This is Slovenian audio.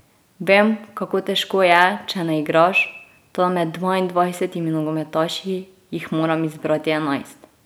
Vem, kako težko je, če ne igraš, toda med dvaindvajsetimi nogometaši jih moram izbrati enajst.